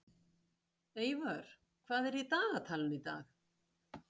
Eivör, hvað er í dagatalinu í dag?